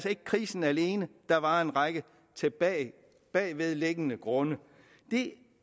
ikke krisen alene der var en række bagvedliggende grunde jeg